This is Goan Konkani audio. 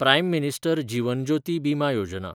prime minister Jeevan Jyoti Bima Yojana